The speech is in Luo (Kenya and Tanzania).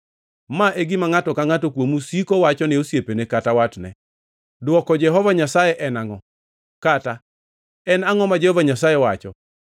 Ma e gima ngʼato ka ngʼato kuomu siko wachone osiepne kata watne: ‘Dwoko Jehova Nyasaye en angʼo?’ kata, ‘En angʼo ma Jehova Nyasaye wacho?’